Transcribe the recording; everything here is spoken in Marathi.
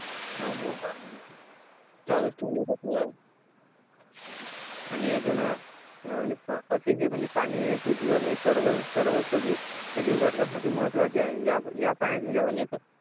चालूच ठेवून देतात ना आणि अजून असे हे म्हणजे पाणी पृथ्वीवर म्हणजे सर्व सर्वच सजीव सजीव घटकासाठी महत्त्वाचे आहे या या पाण्यात म्हणजे अनेक